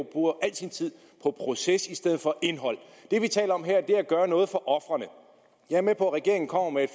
bruger al sin tid på proces i stedet for indhold det vi taler om her er at gøre noget for ofrene jeg er med på at regeringen kommer med